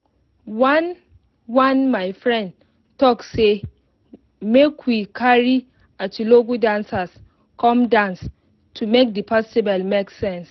we bin plan bin plan the outside game easily make better sun no flog us for afternoon